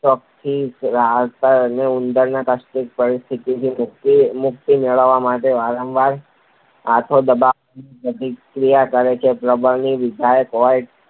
શોકથી રાહત મેળવી શકે તો ઉંદર આ કષ્ટદાયક પરિસ્થિતિમાંથી મુક્તિ મેળવવા માટે વારંવાર હાથો દબાવવાની પ્રતિક્રિયા કરે છે. પ્રબલન વિધાયક હોય